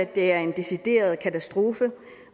det er en decideret katastrofe